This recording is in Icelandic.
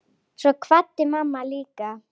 Svo kvaddi mamma líka.